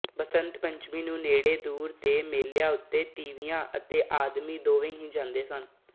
ਬਸੰਤ ਪੰਚਮੀ ਨੂੰ ਨੇੜੇ ਦੂਰ ਦੇ ਮੇਲਿਆਂ ਉੱਤੇ ਤੀਵੀਆਂ ਤੇ ਆਦਮੀ ਦੋਵੇਂ ਹੀ ਜਾਂਦੇ ਹਨ